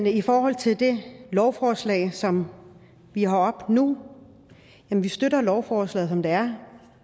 i forhold til det lovforslag som vi har oppe nu at vi støtter lovforslaget som det er